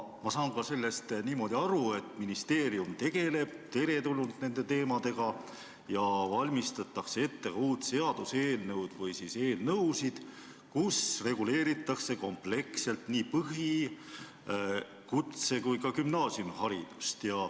Ma saan sellest niimoodi aru, et ministeerium tegeleb teretulnult nende teemadega ja valmistatakse ette uut seaduseelnõu või siis eelnõusid, kus reguleeritakse kompleksselt põhi-, kutse- ja gümnaasiumiharidust.